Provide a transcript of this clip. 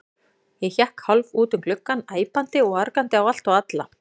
Ég hékk hálf út um gluggann, æpandi og argandi á allt og alla.